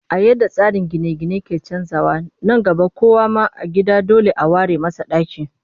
A yadda tsarin gine-gine ke canjawa, nan gaba kowa ma a gida dole a ware masa ɗaki